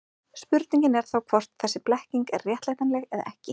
Spurningin er þá hvort þessi blekking er réttlætanleg eða ekki.